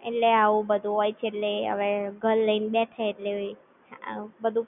હ એટલે આવું બધું હોય છે એટલે હવે ઘર લઈને બેસે એટલે બધું